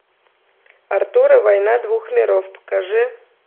артур и война двух миров покажи